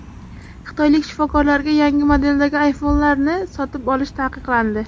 Xitoylik shifokorlarga yangi modeldagi iPhone’larni sotib olish taqiqlandi.